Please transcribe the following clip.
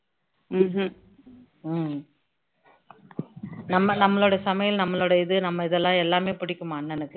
நம்ம நம்மளோட சமையல நம்மளோட இது நம்ம இதுலாம் எல்லாமே பிடிக்குமா அண்ணனுக்கு